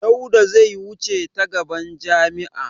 Dauda zai wuce ta gaban jami'a.